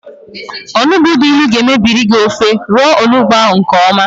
Onugbu dị ịnụ ga mebiri gị ofe, roo onugbu ahụ nkeọma